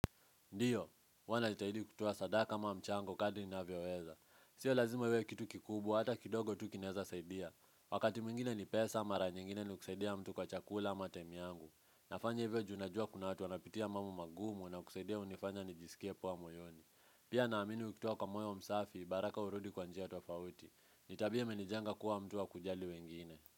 Ndiyo, huwa najitahidi kutoa sadaka ama mchango kadri ninavyoweza. Sio lazima iwe kitu kikubwa hata kidogo tu kinaeza saidia. Wakati mwingine ni pesa ama mara nyingine ni kusaidia mtu kwa chakula ama time yangu. Nafanya hivyo juu najua kuna watu wanapitia mambo magumu na kusaidia hunifanya nijisikie poa moyoni. Pia naamini ukitoa kwa moyo msafi, baraka hurudi kwa njia tofauti. Ni tabia imenijenga kuwa mtu wa kujali wengine.